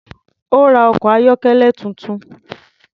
Ó́ ra ọkọ̀ ayọ́kẹ́lẹ́ tuntun.